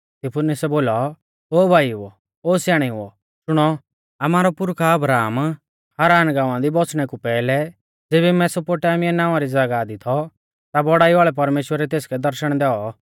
स्तिफनुसै बोलौ ओ भाईओ और स्याणेउओ शुणौ आमारौ पुरखा अब्राहम हारान गांवा दी बौसणै कु पैहलै ज़ेबी मेसोपोटामिया नावां री ज़ागाह दी थौ ता बौड़ाई वाल़ै परमेश्‍वरै तेसकै दर्शण दैऔ